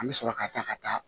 An bɛ sɔrɔ ka taa ka taa